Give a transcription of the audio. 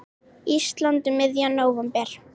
Íslands um miðjan nóvember.